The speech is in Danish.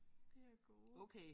De er gode